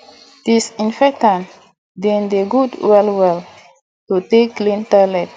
disinfectant de dey good well well to take clean toilet